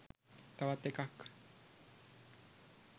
තවත් එකක්